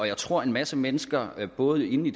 jeg tror en masse mennesker både i